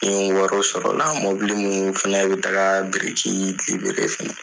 Ni n ye wariw sɔrɔla mobili minnu fana bɛ taa biriki fana